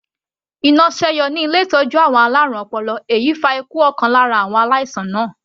Iná sẹ́yọ ní ilé ìtọ́jú àwọn alárùn ọpọlọ èyí fa ikú ọ̀kan lára àwọn aláìsàn náà.